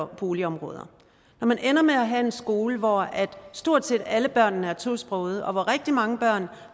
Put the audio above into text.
boligområder når man ender med at have en skole hvor stort set alle børn er tosprogede og hvor rigtig mange børn